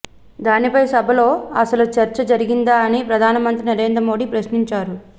దానిపై సభలో అసలు చర్చ జరిగిందా అని ప్రధానమంత్రి నరేంద్ర మోడీ ప్రశ్నించారు